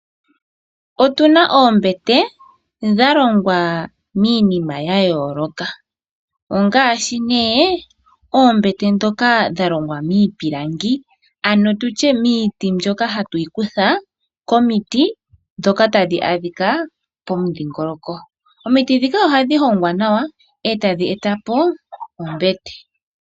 Otuna oombete dhalongwa miinima ya yoloka ongashi ne oombete dhoka dhalongwa miipilangi ano tutye miiti mbyoka ha tuyi kutha komiti dhoka tadhi adhika pomudhingoloko. Omiti dhika ohadhi hongwa nawa etadhi etapo ombete.